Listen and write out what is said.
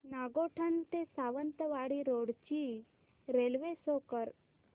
नागोठणे ते सावंतवाडी रोड ची railway show कर